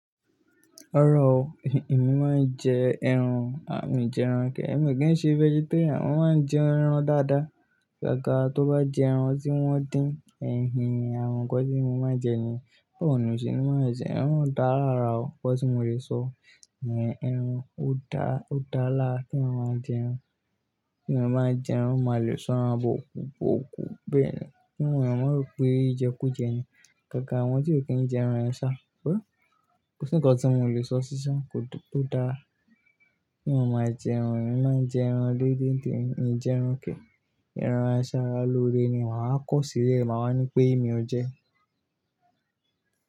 Rárá o, èmi má ń jẹ ẹran, mo ma n jẹ ẹran gan. Èmi kì í ṣe vegetarian, mo máa ń jẹ ẹran dáadáa. Agag, tó bá jẹ ẹran tí wọ́n dín, en hen, àwọn nǹkan tí mo máa jẹ yẹn. Ọ̀nà mi sì ní má ẹsẹ̀, ẹran dára rárá o, kọ́ ní mo lè sọ. Ẹran ó dáa, ó dálá kí àwọn má jẹ ẹran. Kí àwọn má jẹ ẹran, ó máa le sọran bọ kú, okú bẹ́ẹ̀ ni. Kí àwọn má ro pé ìjẹkú jẹ ni. Gangan, àwọn tí ò kí ń jẹ ẹran ẹ̀sà, ó. Kò sí nǹkan tí mo lè sọ sí ṣa, ò dún o dá. Kí àwọn má jẹ ẹran, kí àwọn má jẹ ẹran dédè ẹ́, ín jẹ ẹran kẹ̀. Ẹran àsárá lóore ni, wàá kọ sí i lẹ̀, màá ní pé "èmi ó jẹ".